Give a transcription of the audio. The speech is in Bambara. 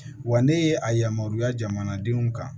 Wa ne ye a yamaruya jamanadenw kan